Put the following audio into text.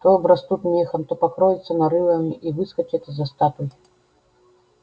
то обрастут мехом то покроются нарывами и выскочат из-за статуй